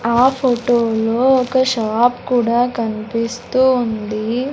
ఆ ఫోటో లో ఒక షాప్ కూడా కనిపిస్తూ ఉంది.